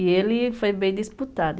E ele foi bem disputado.